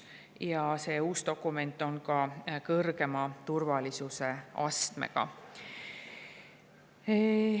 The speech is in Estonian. Ja see uus dokument on ka kõrgema turvalisuse astmega.